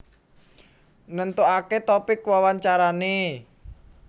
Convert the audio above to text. Nentokake topik wawancarane